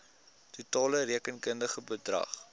totale rekenkundige bedrag